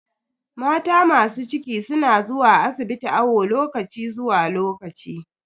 Mata masu ciki na zuwa asibiti awo lokaci zuwa lokaci.